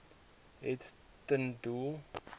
het ten doel